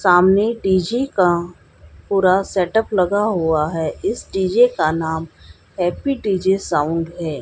सामने डी_जे का पूरा सेटअप लगा हुआ है इस डी_जे का नाम हैप्पी डी_जे साउंड है।